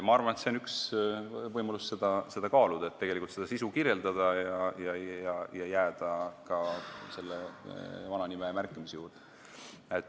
Ma arvan, et see on üks võimalus, mida kaaluda, et saaks kirjeldada sisu ja jääda ka nagu vana nime juurde.